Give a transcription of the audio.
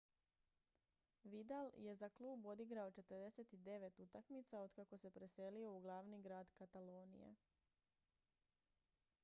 vidal je za klub odigrao 49 utakmica otkako se preselio u glavni grad katalonije